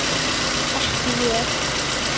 Ekki ég.